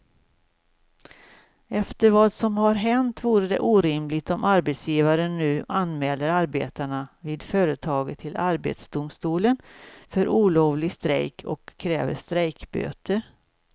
Efter vad som har hänt vore det orimligt om arbetsgivaren nu anmäler arbetarna vid företaget till arbetsdomstolen för olovlig strejk och kräver strejkböter.